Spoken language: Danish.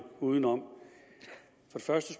udenom det første